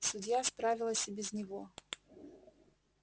судья справилась и без него